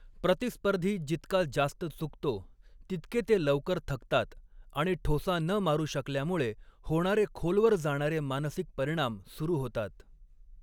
प्रतिस्पर्धी जितका जास्त चुकतो, तितके ते लवकर थकतात आणि ठोसा न मारू शकल्यामुळे होणारे खोलवर जाणारे मानसिक परिणाम सुरु होतात.